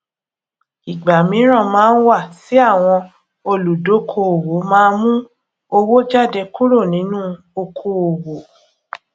ìgbà míran máa ń wà tí àwọn olùdókoòwò má mú owó jáde kúrò nínú okoòwò